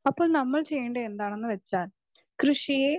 speaker 2 അപ്പൊ നമ്മൾ ചെയ്യേണ്ടത് എന്താണെന്ന് വെച്ചാൽ കൃഷിയെ